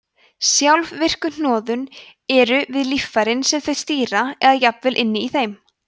sjálfvirku hnoðun eru við líffærin sem þau stýra eða jafnvel inni í þeim